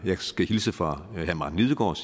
jeg skal hilse fra herre martin lidegaard